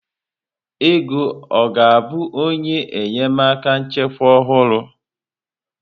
Ego ọ ga-abụ onye enyemaka nchịkwa ọhụrụ?